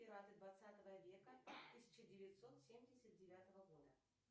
пираты двадцатого века тысяча девятьсот семьдесят девятого года